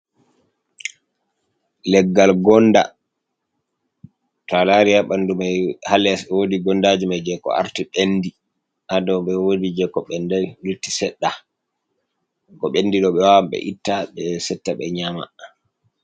Leggal gonɗa to alari ha ɓandu mai hales wodi gondaji mai ko arti ɓendi ha dow be wodi je ko ɓendi lutti sedda ko ɓendi do be wawan ɓe itta ɓe setta ɓe nyama.